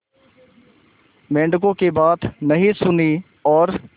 मेंढकों की बात नहीं सुनी और